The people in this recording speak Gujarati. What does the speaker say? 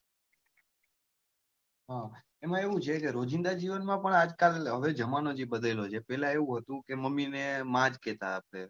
એમાં એવું છે કે રોજીંદા જીવન માં પણ આજકાલ હવે જમાનો જે બદલ્યો છે પેલા એવું હતું કે મમ્મી ને માં જ કહેતા હતા.